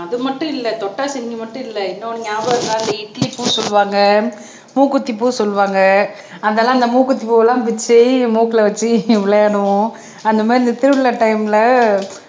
ஆமா அது மட்டும் இல்ல தொட்டாசினிங்கி மட்டும் இல்ல இன்னொன்னு ஞாபகம் இருக்கா இந்த இட்லிப்பூ சொல்லுவாங்க மூக்குத்திப்பூ சொல்லுவாங்க அதெல்லாம் அந்த மூக்குத்திப் பூவெல்லாம் பிச்சு மூக்குல வெச்சு விளையாடுவோம் அந்த மாதிரி இந்த திருவிழா டைம்ல